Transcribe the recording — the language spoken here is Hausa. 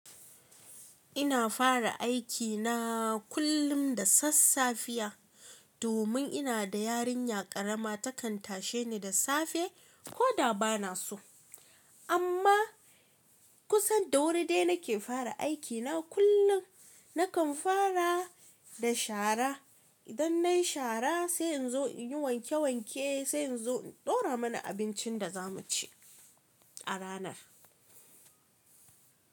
Ina fara aikina kullum da sassafiya domin ina da yarinya ƙarama takan tashe ni da safe ko da ba na so. Amma kusan da wuri dai nake fara aikina kullum. Nakan fara da shara. Idan nai shara sai in zo inyi wanke wanke sai in zo in daura mana abincin da zamu ci a ranar.